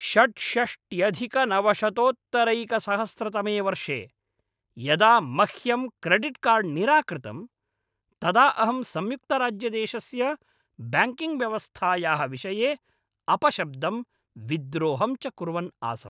षड्षष्ट्यधिकनवशतोत्तरैकसहस्रतमे वर्षे यदा मह्यं क्रेडिट्कार्ड् निराकृतं तदा अहं संयुक्तराज्यदेशस्य ब्याङ्किङ्ग्व्यवस्थायाः विषये अपशब्दं, विद्रोहं च कुर्वन् आसम्।